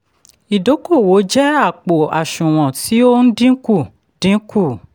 ìdókòwò jẹ́ àpò àṣùwọ̀n tí ó n dínkù. dínkù.